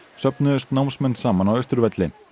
söfnuðust námsmenn saman á Austurvelli